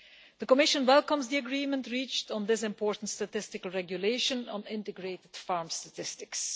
The Commission welcomes the agreement reached on this important regulation on integrated farm statistics.